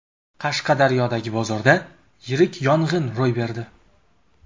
Qashqadaryodagi bozorda yirik yong‘in ro‘y berdi .